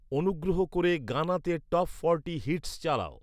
অনুগ্রহ করে গানা তে টপ ফর্টি হিটস্ চালাও৷